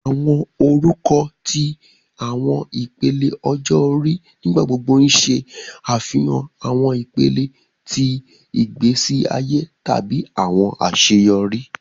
Awọn orukọ ti awọn ipele ọjọ ori nigbagbogbo ṣe afihan awọn ipele ti igbesi aye tabi awọn aṣeyọri.